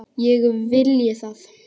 Ég vilji það?